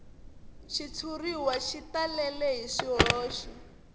xitshuriwa xi talele hi swihoxo